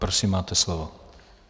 Prosím, máte slovo.